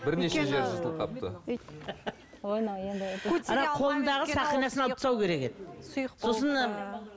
бірнеше жері жылтылып қалыпты